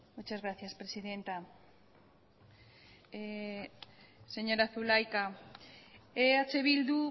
muchas gracias presidenta señora zulaika eh bildu